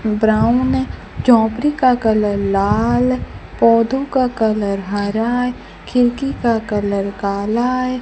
Brown में strawberry का colour लाल पौधों का कलर हरा है खिड़की का कलर काला है।